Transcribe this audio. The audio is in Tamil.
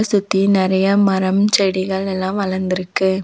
சுத்தி நெறையா மரம் செடிகள் எல்லா வளர்ந்துருக்கு.